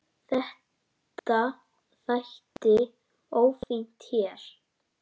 Þetta þætti ófínt hér.